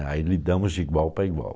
Aí lidamos de igual para igual.